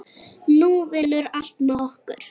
Nú vinnur allt með okkur.